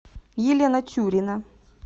елена тюрина